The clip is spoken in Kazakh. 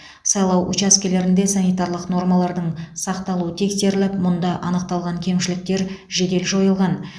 сайлау учаскелерінде санитарлық нормалардың сақталуы тексеріліп мұнда анықталған кемшіліктер жедел жойылған